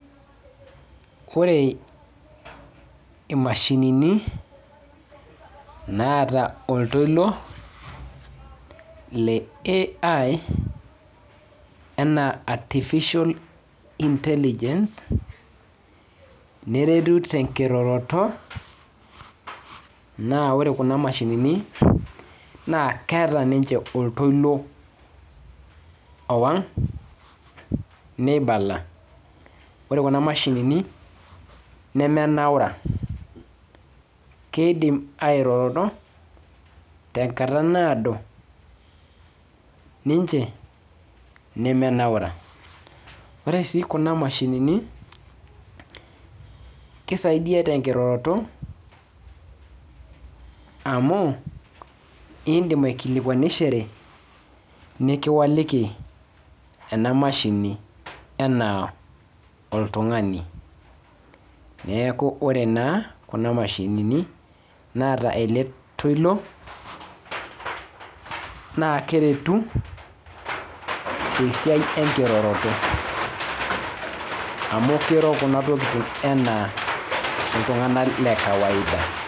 Ore imashinini, naata oltoilo, le AI, anaa artificial intelligence, neretu tenkiroroto, naa ore kuna mashinini, naa keeta ninche oktoilo owang', neibala. Ore kuna mashinini, nemenaura. Kiidim airoro tenkata naado, ninche, nemenaura. Ore si kuna mashinini, kisaidia tenkiroroto, amu, idim aikilikwanishore, nikiwaliki ena mashini enaa oltung'ani. Neeku ore naa, kuna mashinini naata ele toilo, naa keretu, tesiai enkiroroto. Amu kiro kuna tokiting enaa iltung'anak le kawaida.